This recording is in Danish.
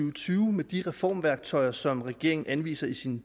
og tyve med de reformværktøjer som regeringen anviser i sin